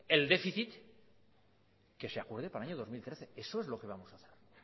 el déficit que se acuerde para el año dos mil trece eso es lo que vamos a hacer